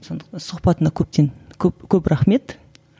сондықтан сұхбатыңа көптен көп көп рахмет